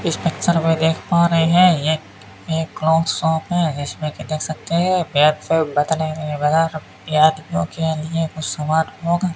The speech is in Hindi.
इस पिक्चर में देख पा रहे हैं ये एक क्लॉक शॉप है इसमें की देख सकते हैं बैक साइड में कुछ आदमियों के लिए समान होगा।